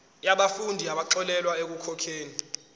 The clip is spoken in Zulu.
yabafundi abaxolelwa ekukhokheni